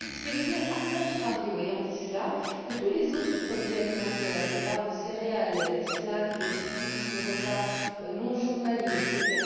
Ce qui veut dire a contrario que tous les autres produits alimentaires, les barres de céréales, les snacks, les substituts de repas non journaliers, etc.